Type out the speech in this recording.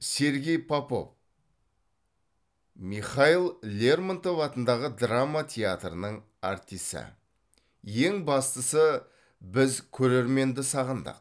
сергей попов михаил лермонтов атындағы драма театрының артисі ең бастысы біз көрерменді сағындық